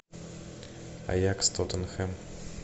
аякс тоттенхэм